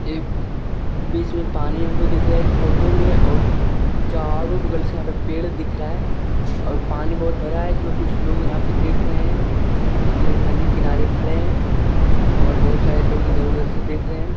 ए बीच में पानी हमको दिख रहा है इस फोटो में और चारो बगल से यहाँ पेड़ दिख रहा है और पानी बहुत भरा हुआ है इसमें कुछ लोग यहाँ पर देख रहे हैं उसके नदी किनारे खड़े हैं और बहुत सारे लोग इधर-उधर से देख रहे हैं।